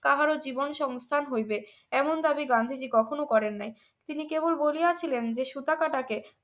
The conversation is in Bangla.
তাহারও জীবন সংস্থান হইবে এমন দাবি গান্ধীজি কখনোই করেন নাই তিনি কেবল বলিয়াছিলেন যে সুতাকাটাকে